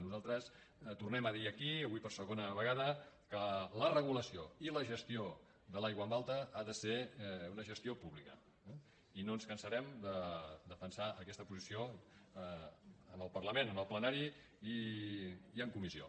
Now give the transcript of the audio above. nosaltres tornem a dir aquí avui per segona vegada que la regulació i la gestió de l’aigua en alta ha de ser una gestió pública i no ens cansarem de defensar aquesta posició en el parlament en el plenari i en comissió